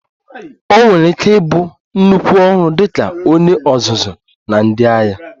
O nwere ike ịbụ nnukwu ọrụ dị ka onye ọzụzụ na ndị agha